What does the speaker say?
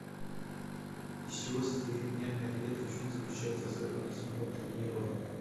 из чего состоит нервная клетка в чем заключается особенность мотонейрона